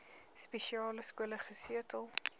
spesiale skole gesetel